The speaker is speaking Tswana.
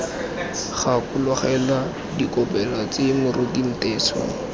gakologelwa dikopelo tse moruti nteso